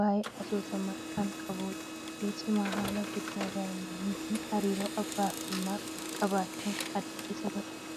waayee asoosamaa kan qabudha. Keessumaa haala guddina daa'immanii fi hariiroo abbaa fi ilmaa qabaachuun adda isa godha.